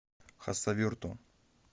хасавюрту